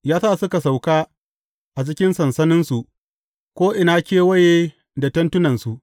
Ya sa suka sauka a cikin sansaninsu, ko’ina kewaye da tentunansu.